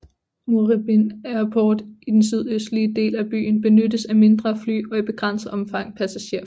Moorabbin Airport i den sydøstlige del af byen benyttes af mindre fly og i begrænset omfang passagererfly